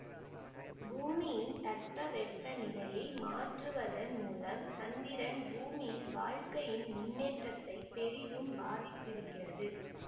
பூமியின் தட்பவெப்பநிலையை மாற்றுவதன் மூலம் சந்திரன் பூமியில் வாழ்க்கையின் முன்னேற்றத்தை பெரிதும் பாதித்திருக்கிறது